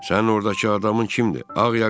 Sənin ordakı adamın kimdir, ağ ya qara?